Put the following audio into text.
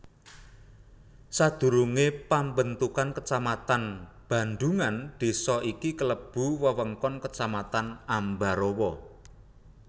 Sadurungé pambentukan kecamatan Bandhungan désa iki klebu wewengkon Kecamatan Ambarawa